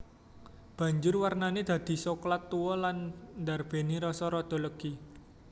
Banjur warnané dadi soklat tuwa lan ndarbèni rasa rada legi